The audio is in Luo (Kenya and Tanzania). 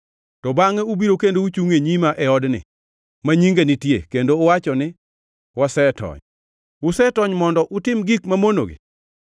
to bangʼe ubiro kendo uchungʼ e nyima e odni, ma Nyinga nitie, kendo uwacho ni, “Wasetony” utony mondo utim gik mamonogi?